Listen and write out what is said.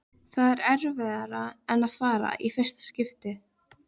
Það er erfiðara en að fara á fyrsta